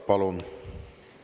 Palun!